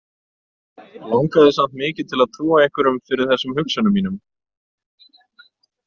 Langaði samt mikið til að trúa einhverjum fyrir þessum hugsunum mínum.